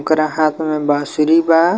ओकरा हाथ में बांसुरी बा।